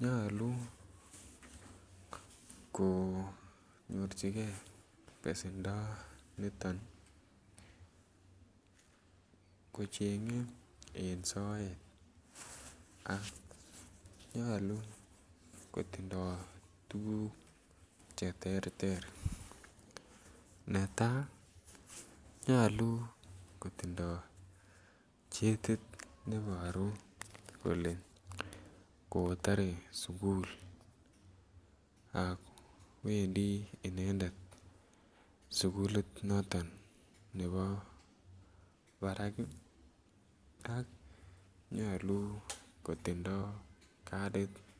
nyolu konyor pesendo niton kocheng'e soet nyolu kotindoy tuguk cheterter: netai, nyolu kotindoy chekit neiporu kole kotore sugul akwendi inendet sugulit noton nepo parak, ak nyolu kotindoy kadit.